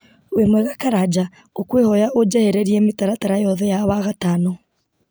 wĩ mwega karanja ngũkwĩhoya ũnjehererie mĩtaratara yothe ya wagatano